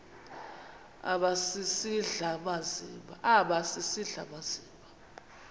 aba sisidl amazimba